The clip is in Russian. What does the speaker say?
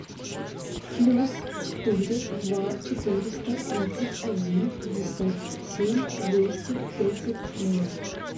плюс четыре два четыреста тридцать один пятьдесят семь двести тридцать ноль